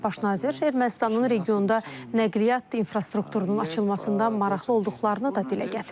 Baş nazir Ermənistanın regionda nəqliyyat infrastrukturunun açılmasında maraqlı olduqlarını da dilə gətirib.